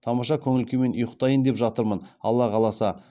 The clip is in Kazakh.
тамаша көңіл күймен ұйықтайын деп жатырмын алла қаласа